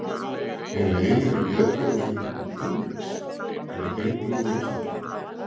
Er heilinn í geðklofasjúklingum öðruvísi en í heilbrigðum einstaklingum?